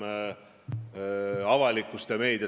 2018. aastal minu teada oli neid riike seitse või kaheksa.